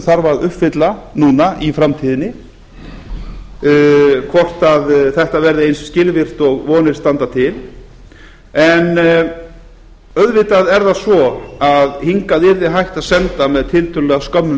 þarf að uppfylla núna í framtíðinni hvort þetta verði eins skilvirkt og vonir standa til en auðvitað er það svo að hingað yrði hægt að senda með tiltölulega skömmum